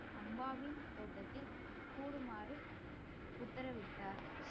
அம்பாவின் தோட்டத்தில் கூடுமாறு உத்தரவிட்டார்